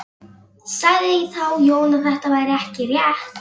Sagði þá Jón að þetta væri ekki rétt.